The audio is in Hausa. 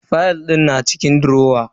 Fayal din na cikin durowa.